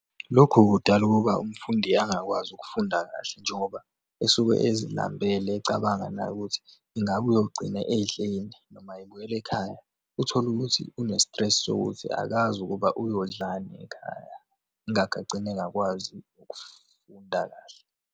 Lokhu kudala ukuba umfundi angakwazi ukufunda kahle njengoba esuke ezilambele ecabanga naye ukuthi ingabe uyogcina edleni. Noma ebuyela ekhaya, uthole ukuthi une-stress sokuthi akazi ukuba uyodlalani ekhaya. Ingakho agcina engakwazi ukufunda kahle.